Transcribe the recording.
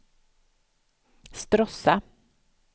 Stråssa